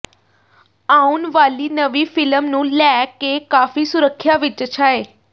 ਆਉਣ ਵਾਲੀ ਨਵੀਂ ਫਿਲਮ ਨੂੰ ਲੈ ਕੇ ਕਾਫੀ ਸੁਰਖੀਆਂ ਵਿਚ ਛਾਏ